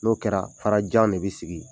N'o kɛra, fara jan de bɛ sigi yen.